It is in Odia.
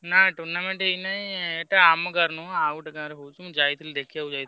ନାଇଁ tournament ହେଇନାଇଁ ଏଟା ଆମ ଗାଁର ନୁହଁ ଆଉଗୋଟେ ଗାଁର ହଉଛି ମୁଁ ଯାଇଥିଲି ଦେଖିବାକୁ ଯାଇଥିଲି।